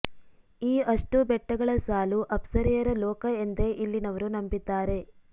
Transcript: ಈ ಅಷ್ಟೂ ಬೆಟ್ಟಗಳ ಸಾಲು ಅಪ್ಸರೆಯರ ಲೋಕ ಎಂದೇ ಇಲ್ಲಿನವರು ನಂಬಿದ್ದಾರೆ